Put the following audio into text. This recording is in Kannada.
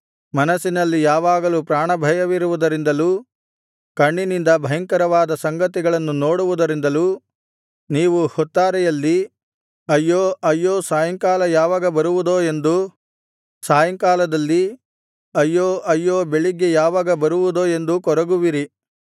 ಮನಸ್ಸಿನಲ್ಲಿ ಯಾವಾಗಲೂ ಪ್ರಾಣಭಯವಿರುವುದರಿಂದಲೂ ಕಣ್ಣಿನಿಂದ ಭಯಂಕರವಾದ ಸಂಗತಿಗಳನ್ನು ನೋಡುವುದರಿಂದಲೂ ನೀವು ಹೊತ್ತಾರೆಯಲ್ಲಿ ಅಯ್ಯೋ ಅಯ್ಯೋ ಸಾಯಂಕಾಲ ಯಾವಾಗ ಬರುವುದೋ ಎಂದೂ ಸಾಯಂಕಾಲದಲ್ಲಿ ಅಯ್ಯೋ ಅಯ್ಯೋ ಬೆಳಿಗ್ಗೆ ಯಾವಾಗ ಬರುವುದೋ ಎಂದು ಕೊರಗುವಿರಿ